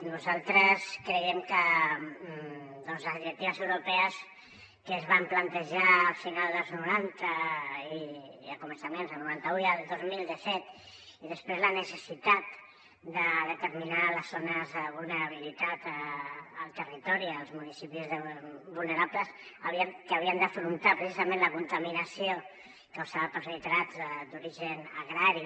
nosaltres creiem que les directives europees que es van plantejar a començaments dels noranta i el dos mil de fet i després la necessitat de determinar les zones de vulnerabilitat al territori els municipis vulnerables que haurien d’afrontar precisament la contaminació causada pels nitrats d’origen agrari